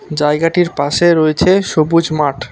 জায়গাটির পাশে রয়েছে সবুজ মাঠ।